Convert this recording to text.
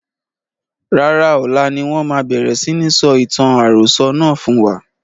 Rárá, ọlá ni wọn máa bẹ̀rẹ̀ si ní sọ ìtàn àròsọ̀ náà fún wa.